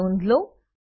ની નોધ લો